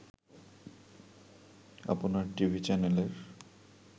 আপনার টিভি চ্যানেলের